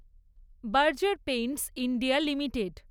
Berger paints India limited